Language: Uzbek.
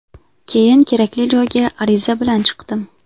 Keyin kerakli joyga ariza bilan chiqdim.